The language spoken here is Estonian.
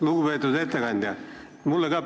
Lugupeetud ettekandja!